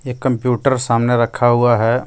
एक कंप्यूटर सामने रखा हुआ है.